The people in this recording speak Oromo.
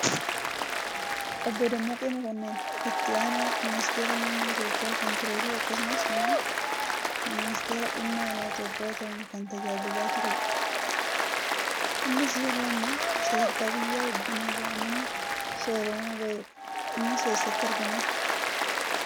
Obbo Dammaqee Mokonnon itti aanaa ministeera muummee Itoophiyaa kan turee fi akkasumas immoo minsteera dhimma alaa Itoophiyaa tahuun kan tajaajilaa turee dha. Innis yeroo ammaa sadarkaa biyya hogganuu irraa nama soorama bahee dha. Innis eessatti argama?